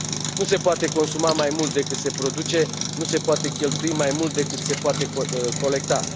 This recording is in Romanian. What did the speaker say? Nu se poate consuma mai mult decât se produce, nu se poate cheltui mai mult decât se poate colecta.